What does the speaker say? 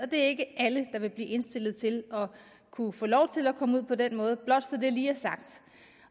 det er ikke alle der vil blive indstillet til at kunne få lov til at komme ud på den måde blot så det lige er sagt